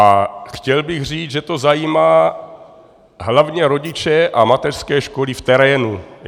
A chtěl bych říct, že to zajímá hlavně rodiče a mateřské školy v terénu.